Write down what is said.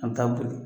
A bɛ taa boli